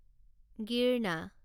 গিৰনা